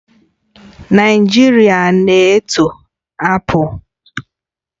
Naijiria na-eto apples